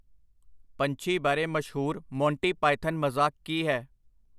ਪੰਛੀ ਬਾਰੇ ਮਸ਼ਹੂਰ ਮੋਂਟੀ ਪਾਇਥਨ ਮਜ਼ਾਕ ਕੀ ਹੈ?